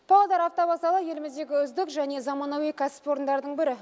павлодар автовокзалы еліміздегі үздік және заманауи кәсіпорындардың бірі